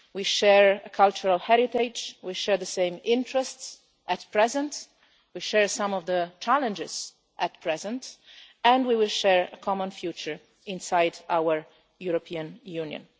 We share a cultural heritage, we share the same interests at present, and we share some of the challenges at present, and we will share a common future inside our European Union.